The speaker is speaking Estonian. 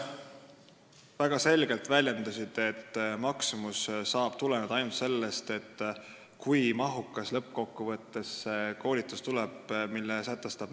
Ta väljendus väga selgelt, et maksumus saab tuleneda ainult sellest, kui mahukas tuleb lõppkokkuvõttes see koolitus, mille määrus sätestab.